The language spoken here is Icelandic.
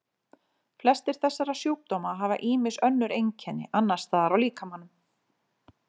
Flestir þessara sjúkdóma hafa ýmis önnur einkenni annars staðar á líkamanum.